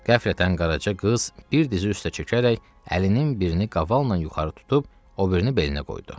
Qəflətən Qaraca qız bir dizi üstə çökərək əlinin birini qavalla yuxarı tutub, o birini belinə qoydu.